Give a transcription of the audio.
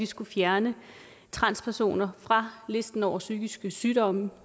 skulle fjerne transpersoner fra listen over psykiske sygdomme